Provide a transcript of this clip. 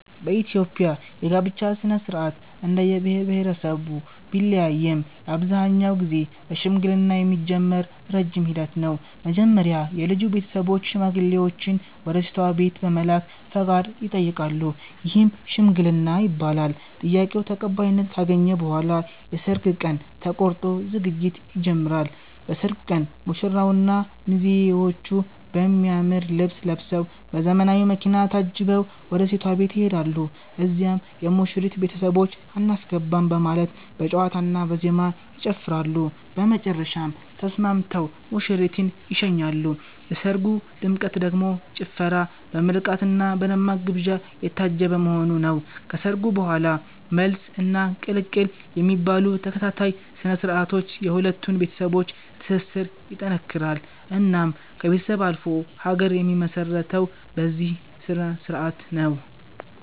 በኢትዮጵያ የጋብቻ ሥነ-ሥርዓት እንደየብሄረሰቡ ቢለያይም አብዛኛውን ጊዜ በሽምግልና የሚጀምር ረጅም ሂደት ነው። መጀመሪያ የልጁ ቤተሰቦች ሽማግሌዎችን ወደ ሴቷ ቤት በመላክ ፈቃድ ይጠይቃሉ፤ ይህም "ሽምግልና" ይባላል። ጥያቄው ተቀባይነት ካገኘ በኋላ የሰርግ ቀን ተቆርጦ ዝግጅት ይጀምራል። በሰርጉ ቀን ሙሽራውና ሚዜዎቹ በሚያምር ልብስ ለብሰዉ፤ በዘመናዊ መኪና ታጅበው ወደ ሴቷ ቤት ይሄዳሉ። እዚያም የሙሽሪት ቤተሰቦች "አናስገባም " በማለት በጨዋታና በዜማ ይጨፍራሉ፤ በመጨረሻም ተስማምተው ሙሽሪትን ይሸኛሉ። የሰርጉ ድምቀት ደግሞ ጭፈራ፣ በምርቃትና በደማቅ ግብዣ የታጀበ መሆኑ ነው። ከሰርጉ በኋላም "መልስ" እና "ቅልቅል" የሚባሉ ተከታታይ ስነ-ስርዓቶች የሁለቱን ቤተሰቦች ትስስር ይጠነክራል። እናም ከቤተሰብ አልፎ ሀገር የሚመሰረተው በዚህ ስነስርዓት ነው